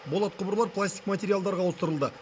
болат құбырлар пластик материалдарға ауыстырылды